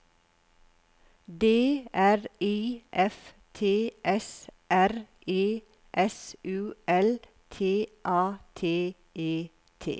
D R I F T S R E S U L T A T E T